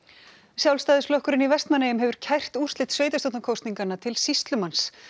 Sjálfstæðisflokkurinn í Vestmannaeyjum hefur kært úrslit sveitarstjórnarkosninganna til sýslumanns